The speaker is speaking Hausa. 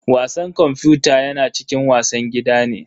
Wasan kwamfuta yana cikin wasan gida ne.